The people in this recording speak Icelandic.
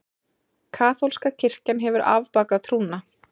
Kaþólska kirkjan hefur afbakað trúna.